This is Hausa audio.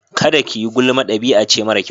Kada kayi gulma dabi'ace mara kyau.